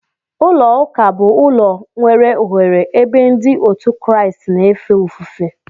Ụlọ ụka bu ụlọ nwere oghere ebe ndi otu kraist na efe ofufe.